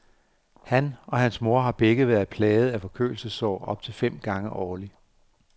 Han og hans mor har begge været plaget af forkølelsessår op til fem gange årlig.